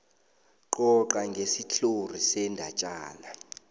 coca ngesitlhori sendatjana